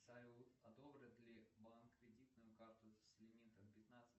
салют одобрит ли банк кредитную карту с лимитом пятнадцать